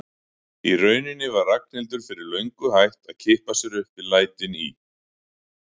Í rauninni var Ragnhildur fyrir löngu hætt að kippa sér upp við lætin í